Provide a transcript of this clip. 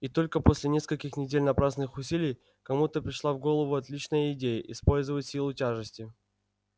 и только после нескольких недель напрасных усилий кому-то пришла в голову отличная идея использовать силу тяжести